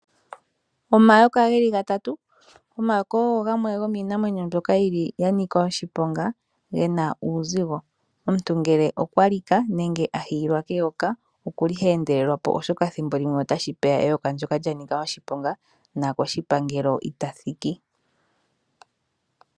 Omayoka ge li gatatu. Omayoka ogo gamwe gomiinamwenyo mbyoka ya nika oshiponga, ge na uuzigo. Omuntu ngele okwa lika nenge a hiyilwa keyoka, oha endelelwa po, oshoka thimbo limwe otashi vulika eyoka ndyoka li kale lya nika oshiponga nokoshipangelo ita thiki.